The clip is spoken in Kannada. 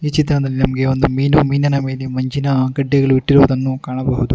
ಚಿತ್ರದಲ್ಲಿ ನಮಗೆ ಒಂದು ಮೀನು ಮೀನಿನ ಮೇಲೆ ಮಂಜಿನ ಗಡ್ಡೆಗಳು ಇಟ್ಟಿರುದನ್ನು ಕಾಣಬಹುದು.